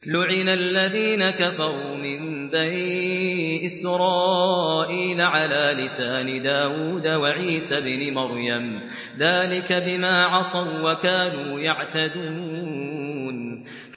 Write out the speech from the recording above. لُعِنَ الَّذِينَ كَفَرُوا مِن بَنِي إِسْرَائِيلَ عَلَىٰ لِسَانِ دَاوُودَ وَعِيسَى ابْنِ مَرْيَمَ ۚ ذَٰلِكَ بِمَا عَصَوا وَّكَانُوا يَعْتَدُونَ